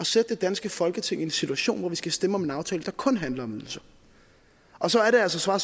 sætte det danske folketing i en situation hvor vi skal stemme om en aftale der kun handler om ydelser og så er det altså